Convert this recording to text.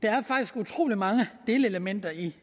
er faktisk utrolig mange delelementer i